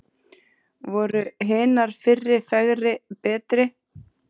Voru hinar fyrri fegri, betri?